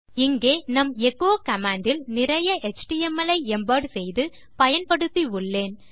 இங்கே நம் echo command இல் நிறைய எச்டிஎம்எல் ஐ எம்பெட் செய்து பயன்படுத்தி உள்ளேன்